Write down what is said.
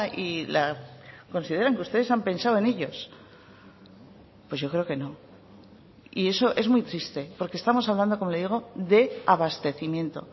y la consideran que ustedes han pensado en ellos pues yo creo que no y eso es muy triste porque estamos hablando como le digo de abastecimiento